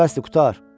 Di, bəsdir, qurtar.